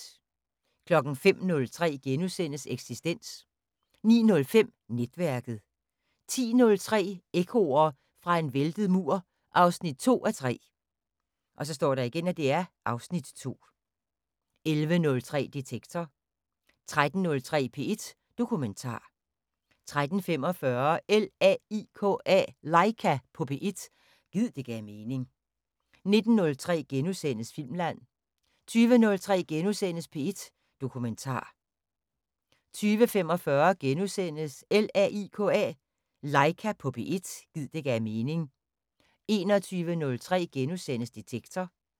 05:03: Eksistens * 09:05: Netværket 10:03: Ekkoer fra en væltet mur 2:3 (Afs. 2) 11:03: Detektor 13:03: P1 Dokumentar 13:45: LAIKA på P1 – gid det gav mening 19:03: Filmland * 20:03: P1 Dokumentar * 20:45: LAIKA på P1 – gid det gav mening * 21:03: Detektor *